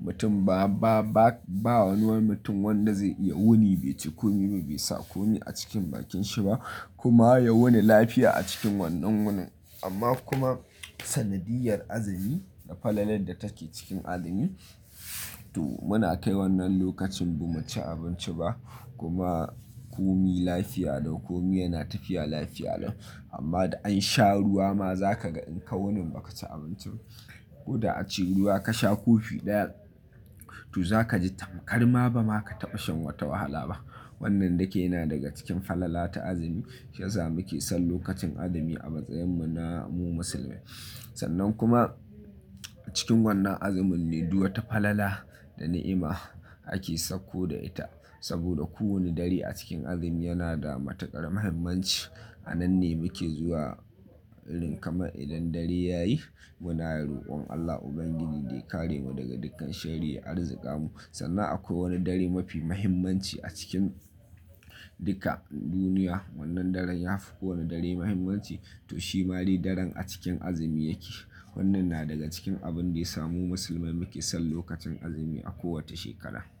mutum ba, ba, ba wani wai mutum wanda zai iya wuni bai ci komi ba, bai sa komi a cikin bakin shi ba kuma ya wuni lafiya a cikin wannan wunin. Amma kuma sanadiyyar azumi da falalar da take cikin azumi, to muna kai wannan lokacin ba mu ci abinci ba kuma komi lafiya lau, komi yana tafiya lafiya lau. Amma da an sha ruwa ma za ka ga in ka wuni baka ci abinci ba ko da a ce ruwa ka sha kofi ɗaya, to za ka ji tamkar ma ba ma ka taɓa shan wata wahala ba. Wannan duka yana daga cikin falala ta azumi, shi ya sa muke son lokacin azumi a matsayinmu na mu musulmai. Sannan kuma cikin wannan azumin ne duk wata falala da ni'ima ake sakko da ita. Saboda kowane dare a cikin azumi yana da matuƙar muhimmanci. A nan ne muke zuwa irin kamar idan dare ya yi muna roƙon Allah Ubangiji da ya kare mu daga dukkan sharri ya arzika mu. Sannan akwai wani dare mafi muhimmanci a cikin duka duniya. Wannan daren ya fi kowane dare muhimmanci to shi ma dai daren a cikin azumi yake. Wannan na daga cikin abin da ya samu musulmai muke son lokacin azumi a kowace shekara.